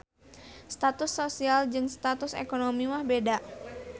Status sosial jeung status ekonomi mah beda